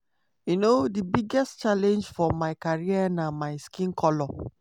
um "di biggest challenge for my career na my skin colour.